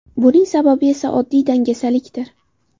Buning sababi esa oddiy dangasalikdir.